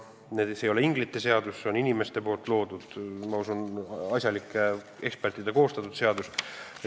See ei ole inglite seadus, see on inimeste loodud, ma usun, et asjalike ekspertide koostatud seadus.